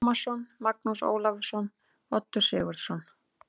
Tómasson, Magnús Ólafsson, Oddur Sigurðsson